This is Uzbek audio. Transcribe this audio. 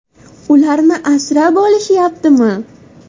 ularni asrab olishyaptimi?